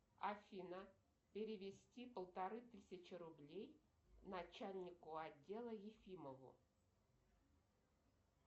афина перевести полторы тысячи рублей начальнику отдела ефимову